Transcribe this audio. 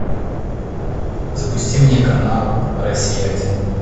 запусти мне канал россия один